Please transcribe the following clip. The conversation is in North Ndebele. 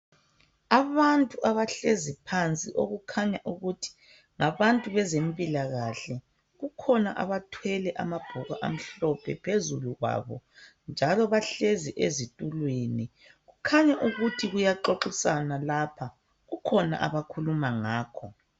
Abantu abahlezi phansi okukhanya ukuthi ngabantu bezempilakahle kukhona abathwele amabhuku amhlophe phezulu kwabo njalo bahlezi ezitulweni kukhanya ukuthi kuyaxoxiswana lapha kukhona abakhuluma ngakho.